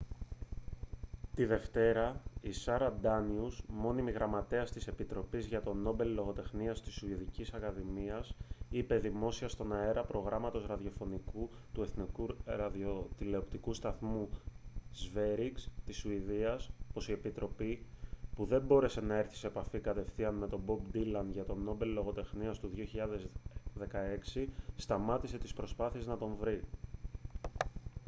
τη δευτέρα η σάρα ντάνιους μόνιμη γραμματέας της επιτροπής για το νόμπελ λογοτεχνίας στη σουηδική ακαδημία είπε δημόσια στον αέρα προγράμματος ραδιοφώνου του εθνικού ραδιοτηλεοπτικού σταθμού sveriges της σουηδίας πως η επιτροπή που δεν μπόρεσε να έρθει σε επαφή κατευθείαν με τον μπομπ ντίλαν για το νόμπελ λογοτεχνίας του 2016 σταμάτησε τις προσπάθειες να τον βρει